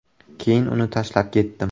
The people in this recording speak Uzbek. Keyin uni tashlab ketdim.